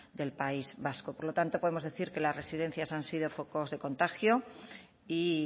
del país vasco por lo tanto podemos decir que las residencias han sido focos de contagio y